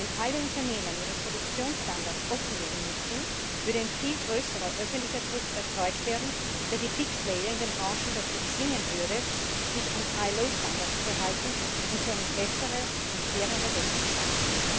Wenn alle Unternehmen ihre Produktionsstandards offenlegen müssten, würde ein viel größerer öffentlicher Druck erzeugt werden, der die big player in den Branchen dazu zwingen würde, sich an IAO Standards zu halten und so eine bessere und fairere Welt zu schaffen.